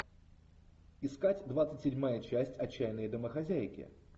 искать двадцать седьмая часть отчаянные домохозяйки